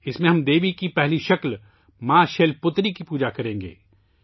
اس میں ہم دیوی کی پہلی شکل ' ماں شیل پُتری ' کی پوجا کریں گے